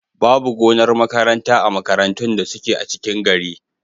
Babu gonar makaranta a makarantun da suke a cikin gari.